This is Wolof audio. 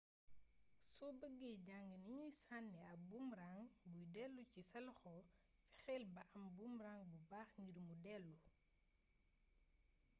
so bëggee jàng nuñuy sànnee ab boomerang buy dellu ci sa loxo fexel ba am ab boomrang bu baax ngir mu delli